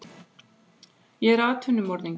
Ég er atvinnumorðingi.